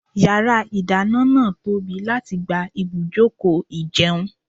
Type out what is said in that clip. Yàrá ìdáná náà tóbi láti gba ibùjókòó ìjẹun.